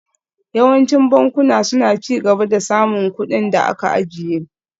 Yawancin bankuna suna ci gaba da samun kuɗin da aka ajiye